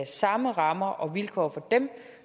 samme rammer og vilkår for dem